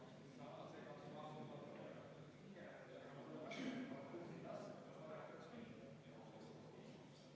Austatud Riigikogu, panen hääletusele üheksanda muudatusettepaneku, mille esitasid Sotsiaaldemokraatliku Erakonna fraktsioon ja Sven Sester.